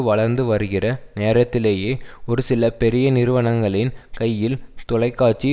வளர்ந்து வருகிற நேரத்திலேயே ஒரு சில பெரிய நிறுவனங்களின் கையில் தொலைக்காட்சி